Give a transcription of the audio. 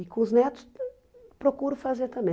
E com os netos, procuro fazer também.